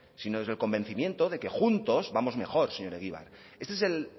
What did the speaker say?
sino desde el convencimiento de que juntos vamos mejor señor egibar este es el